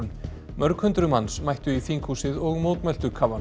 mörg hundruð manns mættu í þinghúsið og mótmæltu